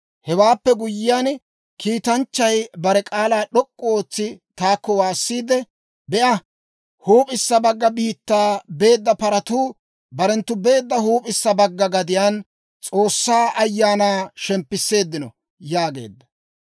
Hewaappe guyyiyaan, kiitanchchay bare k'aalaa d'ok'k'u ootsi taakko waassiide, «Be'a, huup'issa bagga biittaa beedda paratuu barenttu beedda huup'issa bagga gadiyaan S'oossaa Ayaanaa shemppisseeddino» yaageedda.